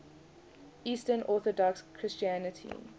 eastern orthodox christianity